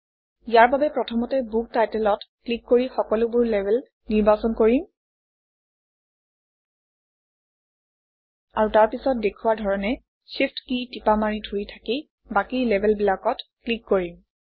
ইয়াৰ বাবে প্ৰথমতে book Title অত ক্লিক কৰি সকলোবোৰ লেবেল নিৰ্বাচন কৰিম আৰু তাৰপিছত দেখুওৱা ধৰণে Shift কী টিপা মাৰি ধৰি থাকি বাকী লেবেলবিলাকত ক্লিক কৰিম